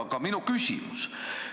Aga minu küsimus.